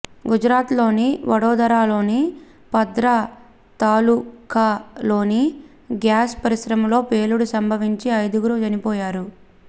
గుజరాత్లోని వడోదరలోని పద్రా తాలుకాలోని గ్యాస్ పరిశ్రమలో పేలుడు సంభవించి ఐదుగురు చనిపోయారు